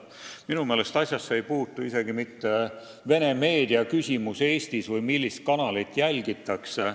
Minu meelest ei puutu asjasse isegi mitte vene meedia Eestis või see, millist kanalit jälgitakse.